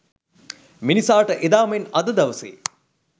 මිනිසාට එදා මෙන් අද දවසේ